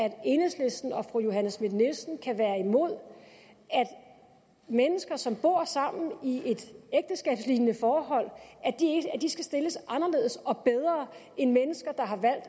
at enhedslisten og fru johanne schmidt nielsen kan være imod at mennesker som bor sammen i et ægteskabslignende forhold skal stilles anderledes og bedre end mennesker der har valgt